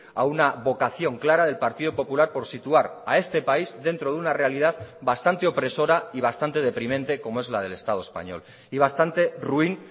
a una vocación clara del partido popular por situar a este país dentro de una realidad bastante opresora y bastante deprimente como es la del estado español y bastante ruin